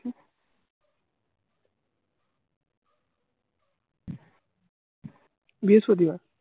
বৃহস্পতিবার